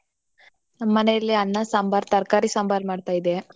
ನಮ್ಮನೇಲಿ ಅನ್ನ ಸಾಂಬಾರ್ ತರಕಾರಿ ಸಾಂಬಾರ್ ಮಾಡ್ತಾಯಿದ್ದೆ.